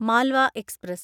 Malwa express